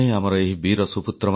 ମୋର ପ୍ରିୟ ଦେଶବାସୀଗଣ ନମସ୍କାର